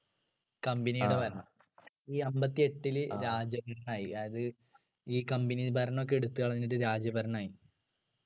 company യുടെ ഭരണം ഈ അമ്പതിഎട്ടിലു രാജഭരണമായി അത് ഈ company ഭരണമൊക്കെ എടുത്തു കളഞ്ഞിട്ട് രാജ ഭരണമായി